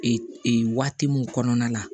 Ee waati min kɔnɔna la